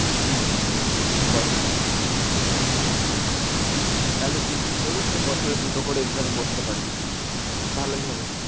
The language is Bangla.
হম হম হম ওই বয়েস অবধি তাহলে তুই যদি করিস তোর বছরে দুটো করে exam এ বসতে পারবি তুই ভালোই হবে।